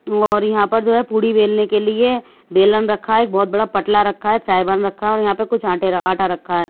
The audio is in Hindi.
और यहां पर जो है पुरी बेलने के लिए बेलन रखा है एक बहुत बड़ा पटला रखा है सइबान रखा है और यहां पर कुछ आटा रखा है।